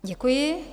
Děkuji.